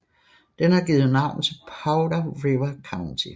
Den har givet navn til Powder River County